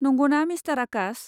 नंगौना मिस्टार आकाश।